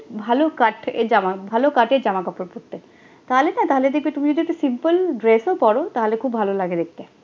ভালো cut এ জামা ভালো cut এ জামাকাপড় পড়তে, তাহলে তাহলে দিকে তুমি যোদি simple dress ও পড়ো তাহলে খুব ভালো লাগে দেখতে